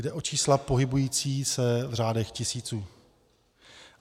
Jde o čísla pohybující se v řádech tisíců.